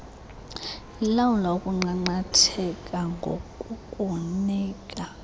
ilawula ukunqanqatheka ngokukunika